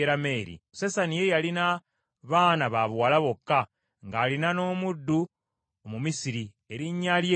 Sesani ye yalina baana ba buwala bokka, ng’alina n’omuddu Omumisiri, erinnya lye Yala.